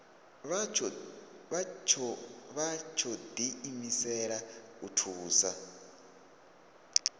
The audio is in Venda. vha tsho diimisela u thusa